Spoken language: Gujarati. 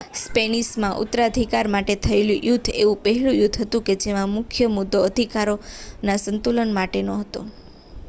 સ્પેનિશમાં ઉત્તરાધિકાર માટે થયેલું યુદ્ધ એવું પહેલું યુદ્ધ હતું જેનો મુખ્ય મુદ્દો અધિકારોના સંતુલન માટેનો હતો